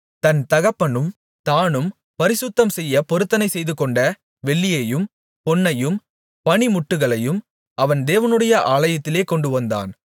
தன் தகப்பனும் தானும் பரிசுத்தம்செய்ய பொருத்தனை செய்துகொண்ட வெள்ளியையும் பொன்னையும் பணிமுட்டுகளையும் அவன் தேவனுடைய ஆலயத்திலே கொண்டுவந்தான்